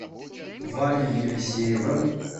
ваней елисеевым